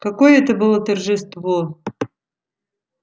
какое это было торжество